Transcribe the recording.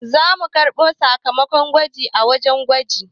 Za mu karɓo sakamakon gwajin a wajen gwaji